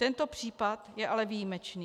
Tento případ je ale výjimečný.